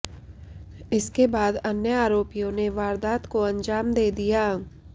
इसके बाद अन्य आरोपियां ने वारदात को अंजाम दे दिया